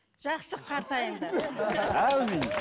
жақсы қартайыңдар әумин